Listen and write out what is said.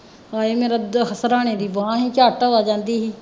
ਹਾਏ ਮੇਰੇ ਸਿਰਹਾਣੇ ਦੀ ਬਾਂਹ ਸੀ ਝੱਟ ਆ ਜਾਂਦੀ ਸੀ॥